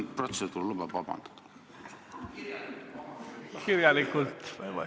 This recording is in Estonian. Kas protseduur lubab vabandust paluda?